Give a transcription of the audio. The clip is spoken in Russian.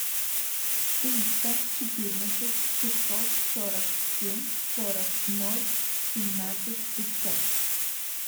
триста четырнадцать шестьсот сорок семь сорок ноль семнадцать пятьсот